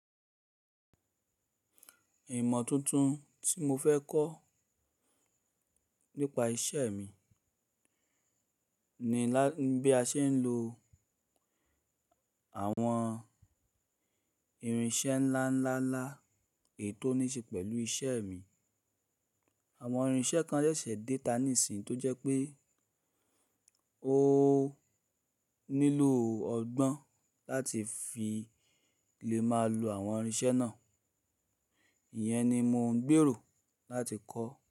Ìmọ̀ tuntun tí mo fẹ́ kọ́ nípa iṣẹ́ mi ni bí a ṣe ń lo àwọn irinṣẹ́ ńlá ńlá ńlá ètò níṣe pẹ̀lú iṣẹ́ mi. Àwọn irinṣẹ́ kan ṣẹ̀ṣẹ̀ déta níṣin tó jẹ́ pé o nílò ọgbọ́n láti fi lè máa lo àwọn irinṣẹ́ náà. Iyẹn ni mò ń gbèrò láti kọ́.